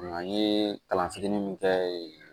An ye kalan fitinin min kɛ yen